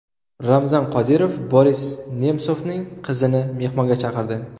Ramzan Qodirov Boris Nemsovning qizini mehmonga chaqirdi.